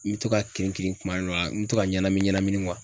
N be to ka kirin kirin kuma dɔw la, n be to ka ɲɛnamini ɲɛnamini